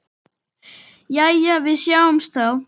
Jæja, við sjáumst þá.